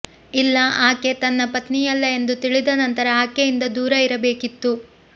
ಇಲ್ಲ ಆಕೆ ತನ್ನ ಪತ್ನಿಯಲ್ಲ ಎಂದು ತಿಳಿದ ನಂತರ ಆಕೆಯಿಂದ ದೂರ ಇರಬೇಕಿತ್ತು